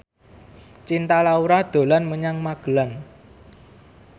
Cinta Laura dolan menyang Magelang